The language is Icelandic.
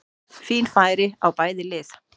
Fín færi á bæði lið!